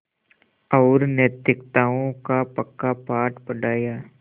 और नैतिकताओं का पक्का पाठ पढ़ाया